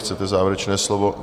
Chcete závěrečné slovo?